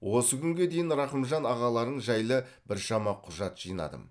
осы күнге дейін рақымжан ағаларың жайлы біршама құжат жинадым